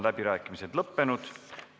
Läbirääkimised on lõppenud.